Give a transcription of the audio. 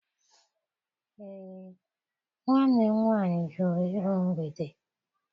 Ee, nwanne m nwaanyị jụrụ iru mgbede.